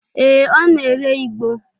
Ee, ọ na-ere igbo.